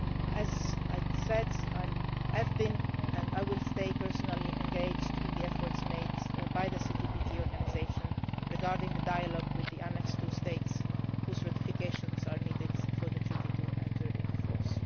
end. As I said, I have been and I will stay personally engaged in the efforts made by the CTBT Organisation regarding the dialogue with the Annex 2 states whose ratifications are needed for the Treaty to enter into